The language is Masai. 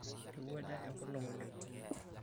Eirowuaja enkolong' oleng'.